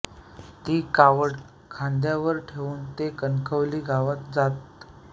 ती कावड खांद्यावर ठेवून ते कणकवली गावात जात